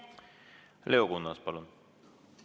Leo Kunnas, palun!